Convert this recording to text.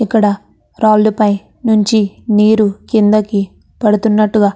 ఇక్కడ రాళ్లుపై నుంచి నీరు కిందకి పడుతున్నట్టుగా --